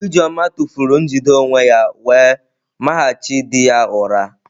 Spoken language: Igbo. Ijeoma tụfuru njide onwe ya wee mahachi di ya ụra.